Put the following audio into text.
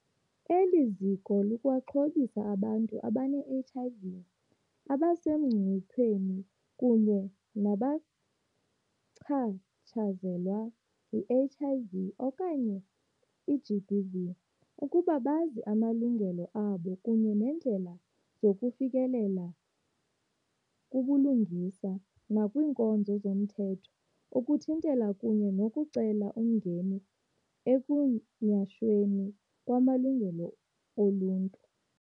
Eli ziko likwaxhobisa abantu abane-HIV, abasemngciphekweni kunye nabachatshazelwa yi-HIV, GBV ukuba bazi amalungelo abo kunye neendlela zokufikelela kubulungisa nakwiinkonzo zomthetho ukuthintela kunye nokucela umngeni ekunyhashweni kwamalungelo oluntu.